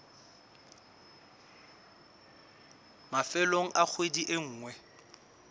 mafelong a kgwedi e nngwe